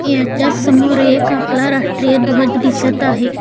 याच्या समोर एक आपला राष्ट्रीय ध्वज दिसत आहे.